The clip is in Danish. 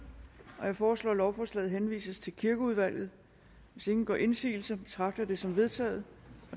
jeg foreslår at lovforslaget henvises til kirkeudvalget hvis ingen gør indsigelse betragter jeg det som vedtaget